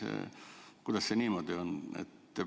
Kuidas see niimoodi on?